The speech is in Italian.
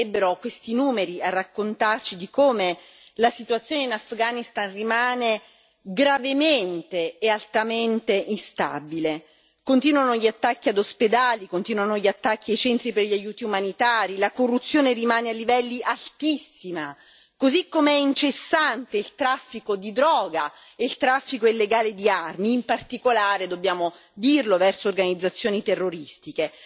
Basterebbero questi numeri a raccontarci di come la situazione in Afghanistan rimane gravemente e altamente instabile. Continuano gli attacchi ad ospedali, continuano gli attacchi ai centri per gli aiuti umanitari, la corruzione rimane a livelli altissimi, così come è incessante il traffico di droga e il traffico illegale di armi, in particolare, dobbiamo dirlo, verso organizzazioni terroristiche.